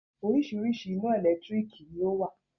Oríṣiríṣi ina ẹ̀lẹ́tírìkì ni ọ wá.